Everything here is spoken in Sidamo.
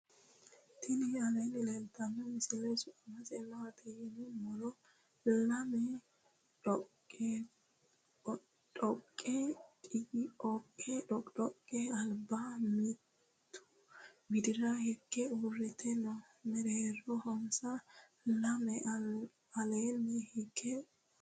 tini alleni leltano misile. su'mase maati yiinumore .laame dhoqidhoqe alba mimitu widira hige uurite noo. meereronsa lamu alleni hige uure noo.